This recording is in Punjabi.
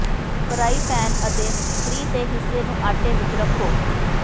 ਫਰਾਈ ਪੈਨ ਅਤੇ ਫ੍ਰੀ ਤੇ ਹਿੱਸੇ ਨੂੰ ਆਟੇ ਵਿੱਚ ਰੱਖੋ